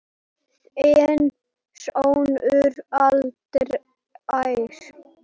Þinn sonur, Andrés.